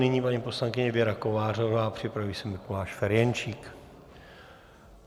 Nyní paní poslankyně Věra Kovářová a připraví se Mikuláš Ferjenčík.